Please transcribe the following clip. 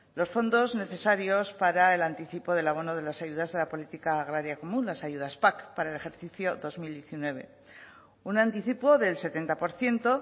los fondos necesarios para el anticipo del abono de las ayudas de la política agraria común las ayudas pac para el ejercicio dos mil diecinueve un anticipo del setenta por ciento